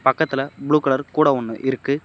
பக்கத்ல blue colour கூட ஒன்னு இருக்கு.